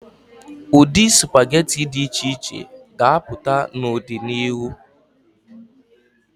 Ụdị sụpageti dị iche iche ga-apụta n'ọdịnihu.